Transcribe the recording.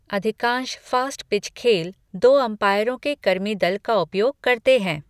अधिकांश फ़ास्टपिच खेल दो अंपायरों के कर्मी दल का उपयोग करते हैं।